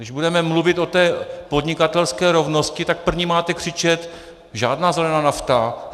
Když budeme mluvit o té podnikatelské rovnosti, tak první máte křičet: Žádná zelená nafta!